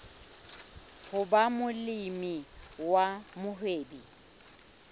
ho ba molemi wa mohwebi